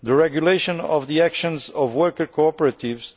the regulation of the actions of worker cooperatives